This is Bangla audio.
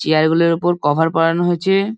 চেয়ার গুলোর উপর কভার পরানো হছে।